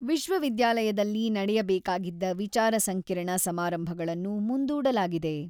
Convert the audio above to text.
ವಿಶ್ವವಿದ್ಯಾಲಯದಲ್ಲಿ ನಡೆಯಬೇಕಾಗಿದ್ದ ವಿಚಾರ ಸಂಕಿರಣ ಸಮಾರಂಭಗಳನ್ನು ಮುಂದೂಡಲಾಗಿದೆ.